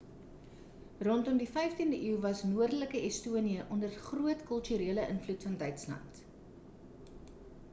rondom die 15de eeu was noordelike estonië onder groot kulturele invloed van duitsland